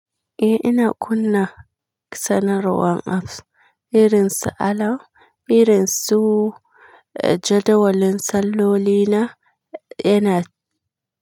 Eh ina kunna sanarwar apps irin su alarm, irin su jadawalin salloli na, yana.